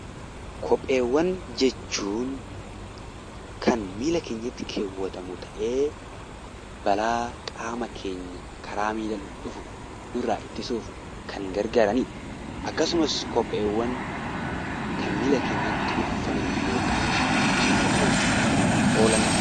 Kopheewwan jechuun kan miila keenyatti kaawwatamu ta'ee, balaa qaama keenya karaa miilaan dhufu nurraa ittisuuf kan gargaaranidha. Akkasumas kopheewwan kan miila keenyatti uffannu yookaan miidhaginaaf kan oolanidha.